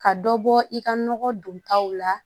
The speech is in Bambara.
Ka dɔ bɔ i ka nɔgɔ don taw la